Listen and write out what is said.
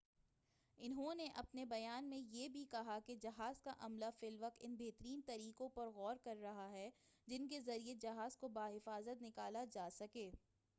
انہوں نے اپنے بیان میں یہ بھی کہا کہ جہاز کا عملہ فی الوقت ان بہترین طریقوں پر غور کر رہا ہے جن کے ذریعہ جہاز کو بحفاظت نکالا جا سکے